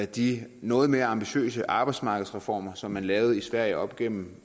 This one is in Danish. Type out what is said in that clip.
de noget mere ambitiøse arbejdsmarkedsreformer som man lavede i sverige op gennem